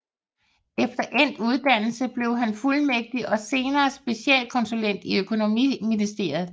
Efter endt uddannelse blev han fuldmægtig og senere specialkonsulent i Økonomiministeriet